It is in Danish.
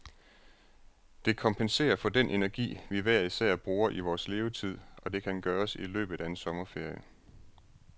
Det kompenserer for den energi, vi hver især bruger i vores levetid, og det kan gøres i løbet af en sommerferie.